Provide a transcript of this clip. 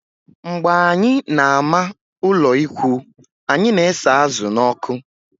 Mgbe anyị na-ama ụlọikwuu, anyị na-esa azụ̀ n'ọkụ